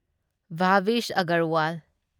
Bhavish Agarwal